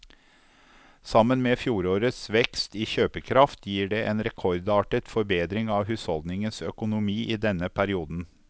Sammen med fjorårets vekst i kjøpekraft gir det en rekordartet forbedring av husholdningenes økonomi i denne perioden.